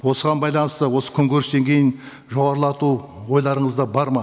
осыған байланысты осы күнкөріс деңгейін жоғарылату ойларыңызда бар ма